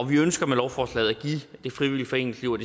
vi ønsker med lovforslaget at give det frivillige foreningsliv og